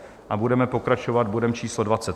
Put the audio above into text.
A budeme pokračovat bodem číslo